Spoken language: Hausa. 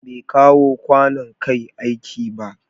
Bai kawo kwanon Kai aiki ba.